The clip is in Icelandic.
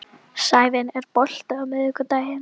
Sævin, er bolti á miðvikudaginn?